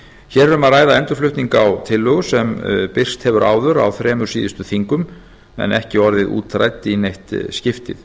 hér er um að ræða endurflutning á tillögu sem birst hefur áður á þremur síðustu þingum en ekki orðið útrædd í neitt skiptið